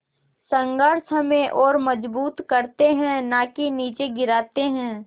संघर्ष हमें और मजबूत करते हैं नाकि निचे गिराते हैं